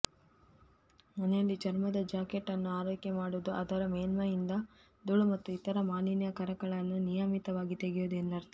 ಮನೆಯಲ್ಲಿ ಚರ್ಮದ ಜಾಕೆಟ್ ಅನ್ನು ಆರೈಕೆ ಮಾಡುವುದು ಅಂದರೆ ಮೇಲ್ಮೈಯಿಂದ ಧೂಳು ಮತ್ತು ಇತರ ಮಾಲಿನ್ಯಕಾರಕಗಳನ್ನು ನಿಯಮಿತವಾಗಿ ತೆಗೆಯುವುದು ಎಂದರ್ಥ